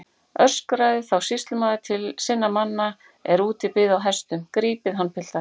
Öskraði þá sýslumaður til sinna manna er úti biðu á hestum: Grípið hann piltar.